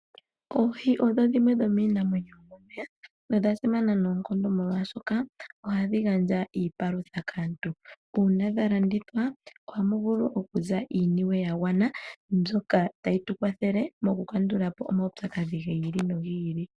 Oohi odho dhimwe dhominamwenyo yomomeya na odha simana noonkondo molwashoka ohadhi gandja iipalutha kaantu una dhalandithwa, ohamu vulu oku za iiyemo yagwana mbyoka tayi tu kwathele moku kandula po omaupyakadhi gi ili nogi ili.